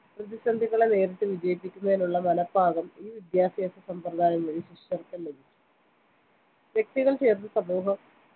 പ്രതിസന്ധികളെ നേരിട്ട് വിജയിക്കുന്നതിനുള്ള മനപ്പാകം ഈ വിദ്യാഭ്യാസ സമ്പ്രദായം വഴി ശിഷ്യർക്കും ലഭിച്ചു വ്യക്തികൾ ചേർന്ന് സമൂഹം